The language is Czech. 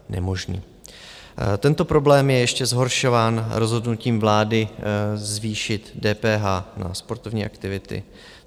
Tento problém je ještě zhoršován rozhodnutím vlády zvýšit DPH na sportovní aktivity.